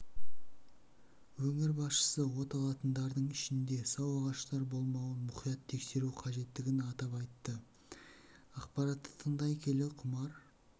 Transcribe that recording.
өңір басшысы оталатындардың ішінде сау ағаштар болмауын мұқият тексеру қажеттігін атап айтты ақпаратты тыңдай келе құмар